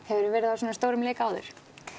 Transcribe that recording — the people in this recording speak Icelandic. hefurðu verið á svona stórum leik áður